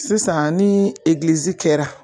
Sisan ni egilizi kɛra